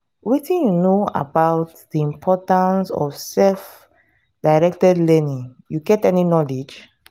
wetin you know about di importance of self-directed learning you get any knowledge?